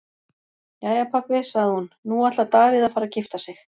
Jæja pabbi, sagði hún, nú ætlar Davíð að fara að gifta sig.